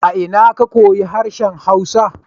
A ina ka koyu harshen hausa?